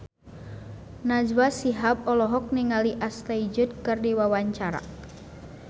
Najwa Shihab olohok ningali Ashley Judd keur diwawancara